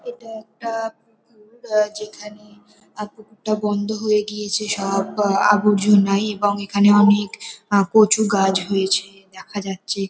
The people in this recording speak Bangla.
এটা একটা পুকুর আ যেখানে আ পুকুরটা বন্ধ হয়ে গিয়েছে। সব আ আবর্জনাই এবং এখানে অনেক আ কচু গাছ হয়েছে দেখা যাচ্ছে।